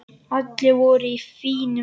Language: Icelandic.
Allir voru í fínum fötum.